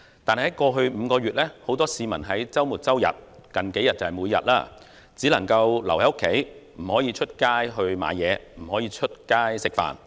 但在過去5個月，很多市民在周末、周日，而近數天更是每天只能留在家中，不可以外出購物，不可以外出吃飯。